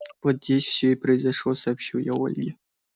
вот здесь всё и произошло сообщил я ольге